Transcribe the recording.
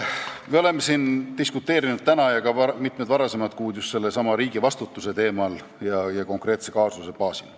Me oleme diskuteerinud täna ja ka mitmed varasemad kuud just sellesama riigi vastutuse teemal ja konkreetse kaasuse baasil.